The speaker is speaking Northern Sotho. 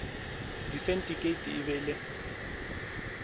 disindikeiti e be e le